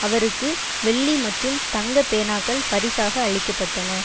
அவருக்கு வெள்ளி மற்றும் தங்க பேனாக்கள் பரிசாக அளிக்கப்பட்டன